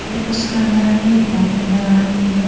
और उसके अंदर हमें बोट नजर आ रही है।